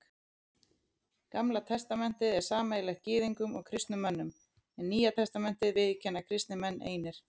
Gamla testamentið er sameiginlegt Gyðingum og kristnum mönnum, en Nýja testamentið viðurkenna kristnir menn einir.